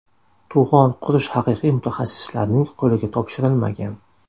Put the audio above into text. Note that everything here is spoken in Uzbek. To‘g‘on qurish haqiqiy mutaxassislarning qo‘liga topshirilmagan.